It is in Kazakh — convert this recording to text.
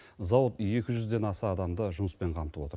зауыт екі жүзден аса адамды жұмыспен қамтып отыр